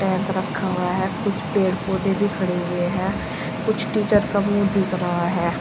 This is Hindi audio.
टैक रखा हुआ है कुछ पेड़ पौधे भी खड़े हुए हैं कुछ टीचर का मुंह दिख रहा है।